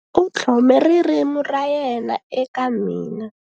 U tlhome ririmi ra yena eka mina.